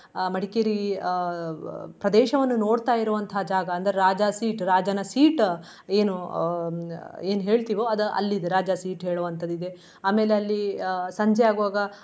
ಅಹ್ ಮಡಿಕೇರಿ ಅಹ್ ಪ್ರದೇಶವನ್ನು ನೋಡ್ತಾ ಇರುವಂತಹ ಜಾಗ. ಅಂದ್ರೆ ರಾಜಾಸೀಟ್ ರಾಜನ seat ಏನು ಅಹ್ ಏನ್ ಹೇಳ್ತಿವೋ ಅದ್ ಅಲ್ಲಿದೆ ರಾಜಾಸೀಟ್ ಹೇಳುವಂತದ ಇದೆ. ಆಮೇಲೆ ಅಲ್ಲಿ ಅಹ್ ಸಂಜೆ ಆಗುವಾಗ.